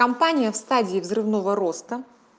компания в стадии взрывного роста